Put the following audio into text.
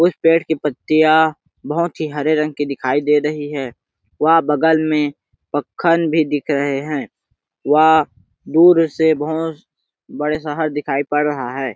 उस पेड़ की पत्तिया बहोत ही हरे रंग की दिखाई दे रही है वह बगल में पक्खन भी दिख रहे है वह दूर से बहोत बड़े शहर दिखाई पड़ रहा है।